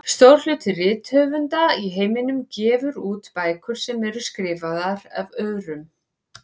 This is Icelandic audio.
Stór hluti rithöfunda í heiminum gefur út bækur sem eru skrifaðar af öðrum.